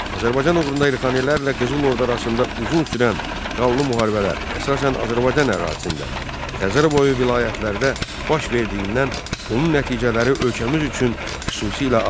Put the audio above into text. Azərbaycan uğrunda Elxanilərlə Qızıl Ordu arasında uzun sürən qanlı müharibələr əsasən Azərbaycan ərazisində, Xəzərboyu vilayətlərdə baş verdiyindən onun nəticələri ölkəmiz üçün xüsusilə ağır idi.